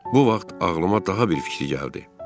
Bu vaxt ağlıma daha bir fikir gəldi.